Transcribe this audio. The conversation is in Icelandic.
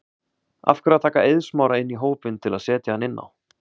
Af hverju að taka Eið Smára inn í hópinn til að setja hann inn á?